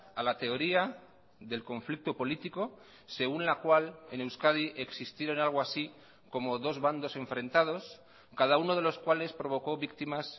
a la teoría del conflicto político según la cual en euskadi existieron algo así como dos bandos enfrentados cada uno de los cuales provoco víctimas